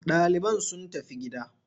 Ɗaliban sun tafi gida.